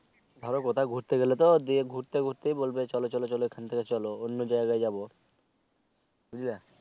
ধরো কোথাও ঘুরতে গেলে তো দিয়ে ঘুরতে ঘুরতে বলবে চল চল এখান থেকে চলো অন্য জায়গায় যাবো বুঝলে